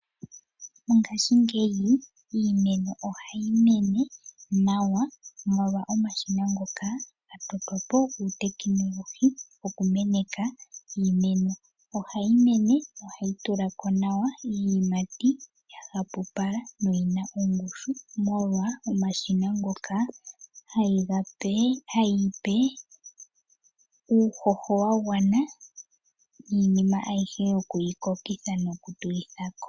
Mongashingeyi iimeno ohayi mene nawa molwa omashina ngoka gatotwa po guutekinolohi go kumeneka iimeno, ohayi mene na ohayi tula ko nawa iiyimati yahapupala na oyina oongushu molwa omashina ngoka hayi yi pe uuhoho wagwana niinima ahyihe yikukokitha no kutulitha ko.